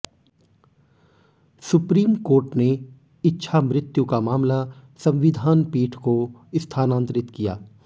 supreme Court ने इच्छामृत्यु का मामला संविधान पीठ को स्थानांतरित किया